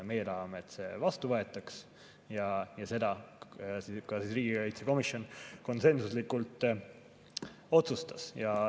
Meie tahame, et see vastu võetaks, ja seda ka riigikaitsekomisjon konsensuslikult otsustas.